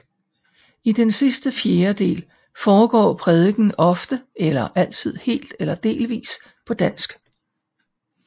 I den sidste fjerdedel foregår prædikenen ofte eller altid helt eller delvis på dansk